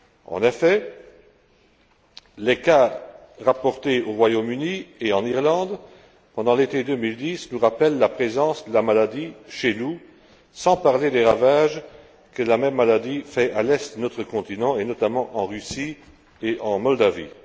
En effet, les cas rapportés au Royaume Uni et en Irlande pendant l'été 2010 nous rappellent la présence de la maladie chez nous, sans parler des ravages que la même maladie fait à l'est de notre continent, notamment en Russie et en Moldavie.